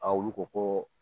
A olu ko ko